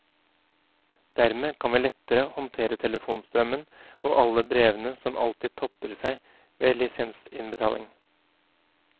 Dermed kan vi lettere håndtere telefonstrømmen og alle brevene som alltid topper seg ved lisensinnbetaling.